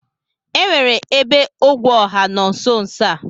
E nwere ebe ogwe ọha nọ nsonso a?